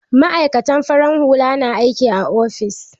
Ma'aikatan farar hula na aikin a ofis